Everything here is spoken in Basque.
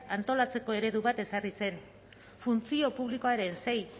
antolatzeko eredu bat ezarri zen funtzio publikoaren sei